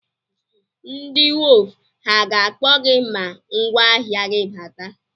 Ndị wọf ha ga-akpọ gị ma ngwáahịa gị bata?